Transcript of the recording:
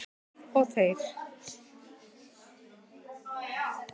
Við og þeir